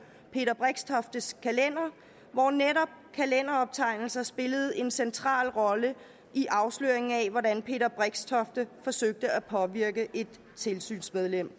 peter brixtoftes kalender hvor netop kalenderoptegnelser spillede en central rolle i afsløringen af hvordan peter brixtofte forsøgte at påvirke et tilsynsmedlem